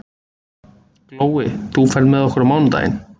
Glói, ferð þú með okkur á mánudaginn?